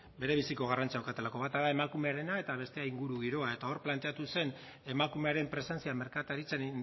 berebiziko garrantzia daukatelako bata da emakumearena eta bestea ingurugiroa eta hor planteatu zen emakumearen presentzia merkataritzan